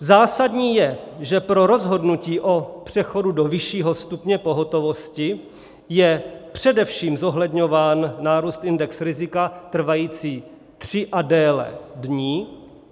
Zásadní je, že pro rozhodnutí o přechodu do vyššího stupně pohotovosti je především zohledňován nárůst indexu rizika trvající tři a déle dní.